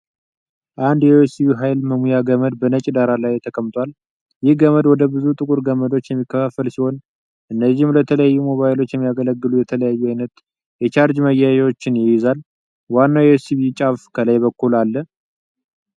አንድ የዩኤስቢ ኃይል መሙያ ገመድ በነጭ ዳራ ላይ ተቀምጧል። ይህ ገመድ ወደ ብዙ ጥቁር ገመዶች የሚከፋፈል ሲሆን፣ እነዚህም ለተለያዩ ሞባይሎች የሚያገለግሉ የተለያዩ አይነት የቻርጅ ማያያዣዎችን ይይዛሉ። ዋናው የዩኤስቢ ጫፍ ከላይ በኩል አለ።